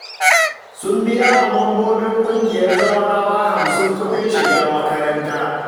Sun biya wa mambobin ƙungiyar zawarawa hamsin kuɗin shiga makaranta